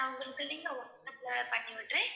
நான் உங்களுக்கு link அ வாட்ஸ்அப்ல பண்ணி விடறேன்.